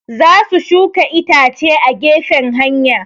Za su shuka itace a gefen hanya